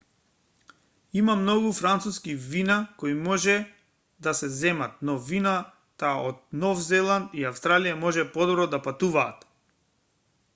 има многу француски вина кои може да се земат но вината од нов зеланд и австралија може подобро да патуваат